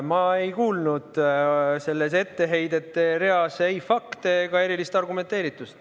Ma ei kuulnud selles etteheidete reas ei fakte ega erilist argumenteeritust.